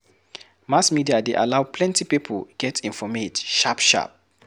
Mass media dey allow plenty pipo get informate sharp sharp.